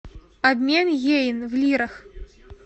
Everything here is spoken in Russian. обмен йен в лирах